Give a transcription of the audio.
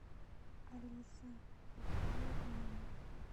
алиса бокалы в номер